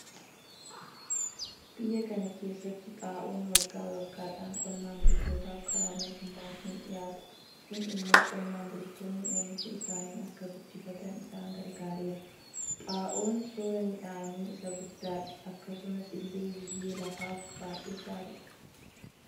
Biyya kana keessatti xaa'oon waggaa waggaadhaan qonnaan bultootaaf karaa mootummaatiin dhiyaata. Kun immoo qonnaan bultoonni oomisha isaanii akka guddifatan isaan gargaareera. Xaa'oon soora miidhaanii isaa guddadha akkasumas ille biyyee lafaaf baay'ee gaariidha.